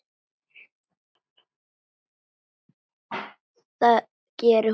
Það gerir hún.